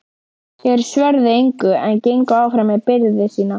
Þeir svöruðu engu en gengu áfram með byrði sína.